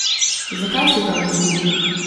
Zakaj se to ne zgodi?